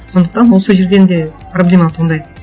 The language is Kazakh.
сондықтан ол сол жерден де проблема туындайды